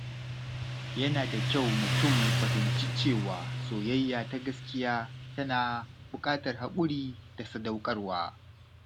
Yana da kyau mutum ya fahimci cewa soyayya ta gaskiya tana buƙatar haƙuri da sadaukarwa.